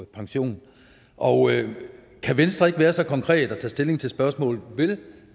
pension og kan venstre ikke være så konkret at tage stilling til spørgsmålet vil